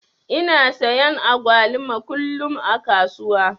Ina sayan agwaluma kullum a kasuwa.